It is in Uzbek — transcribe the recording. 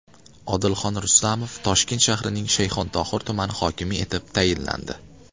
Odilxon Rustamov Toshkent shahrining Shayxontohur tumani hokimi etib tayinlandi.